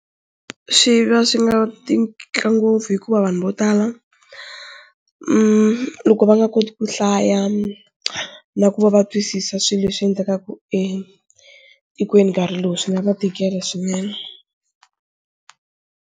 Swi va swi nga ngopfu hikuva vanhu vo tala loko va nga koti ku hlaya na ku va va twisisa swilo leswi endlekaka etikweni nkarhi lowu swi nga va tikela swinene.